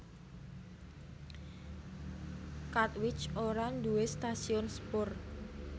Katwijk ora nduwé stasiun sepur